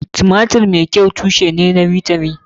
Tumatir tushe ne mai kyau na bitamin.